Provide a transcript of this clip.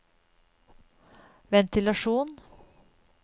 ventilasjon